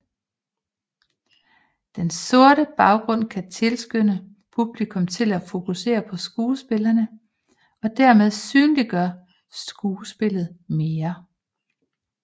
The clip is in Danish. Den sorte baggrund kan tilskynde publikum til at fokusere på skuespillerne og dermed synliggøre skuespillet mere